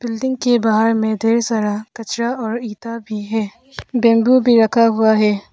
Building के बाहर मैं ढेर सारा कचरा और ईटा भी है बैम्बू भी रखा हुआ है।